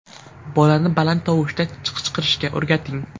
Bolani baland tovushda qichqirishga o‘rgating .